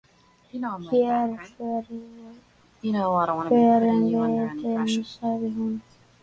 """Hér förum við inn, sagði hún."""